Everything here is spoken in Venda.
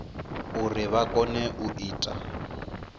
uri vha kone u ita